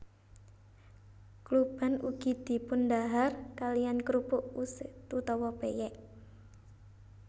Kluban ugi dipundhahar kaliyan krupuk usek utawa pèyèk